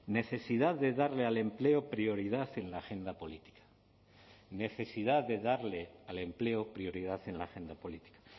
necesidad de darle al empleo prioridad en la agenda política necesidad de darle al empleo prioridad en la agenda política